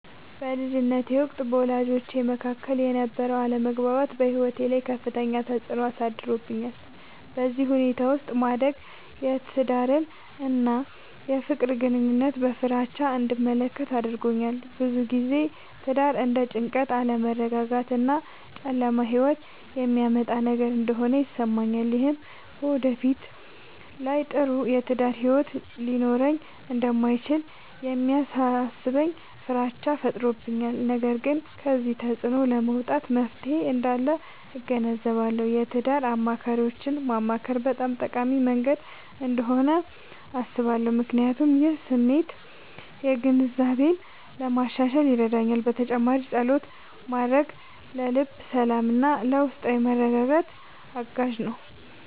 በልጅነቴ ወቅት በወላጆቼ መካከል የነበረ አለመግባባት በሕይወቴ ላይ ከፍተኛ ተፅዕኖ አሳድሮብኛል። በዚህ ሁኔታ ውስጥ ማደግ የትዳርን እና የፍቅር ግንኙነትን በፍራቻ እንድመለከት አድርጎኛል። ብዙ ጊዜ ትዳር እንደ ጭንቀት፣ አለመረጋጋት እና ጨለማ ሕይወት የሚያመጣ ነገር እንደሆነ ይሰማኛል። ይህም በወደፊት ላይ ጥሩ የትዳር ሕይወት ሊኖረኝ እንደማይችል የሚያሳስበኝ ፍራቻ ፈጥሮብኛል። ነገር ግን ከዚህ ተፅዕኖ ለመውጣት መፍትሔ እንዳለ እገነዘባለሁ። የትዳር አማካሪዎችን ማማከር በጣም ጠቃሚ መንገድ እንደሆነ አስባለሁ፣ ምክንያቱም ይህ የስሜት ግንዛቤን ለማሻሻል ይረዳል። በተጨማሪም ፀሎት ማድረግ ለልብ ሰላምና ለውስጣዊ መረጋጋት አጋዥ ነው።